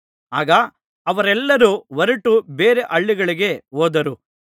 ಆಗ ಅವರೆಲ್ಲರೂ ಹೊರಟು ಬೇರೆ ಹಳ್ಳಿಗೆ ಹೋದರು